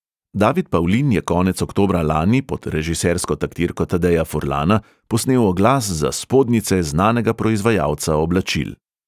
David pavlin je konec oktobra lani pod režisersko taktirko tadeja furlana posnel oglas za spodnjice znanega proizvajalca oblačil.